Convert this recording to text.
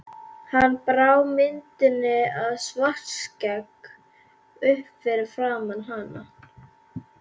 Hann brá myndinni af Svartskegg upp fyrir framan hana.